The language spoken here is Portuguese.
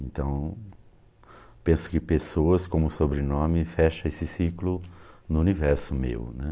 Então, penso que pessoas como sobrenome fecha esse ciclo no universo meu, né?